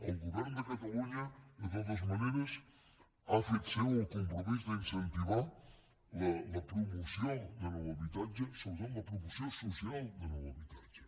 el govern de catalunya de totes maneres ha fet seu el compromís d’incentivar la promoció de nou habitatge sobretot la promoció social de nou habitatge